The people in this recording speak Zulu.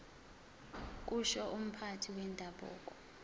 kusho umphathi wendabuko